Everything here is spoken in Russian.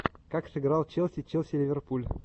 как сыграл челси челси ливерпуль